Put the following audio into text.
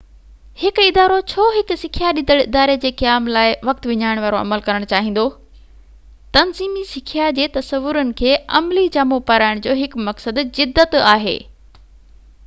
هڪ ادارو ڇو هڪ سکيا ڏيندڙ اداري جي قيام لاءِ وقت وڃائڻ وارو عمل ڪرڻ چاهيندو تنظيمي سکيا جي تصورن کي عملي جامو پارائڻ جو هڪ مقصد جدت آهي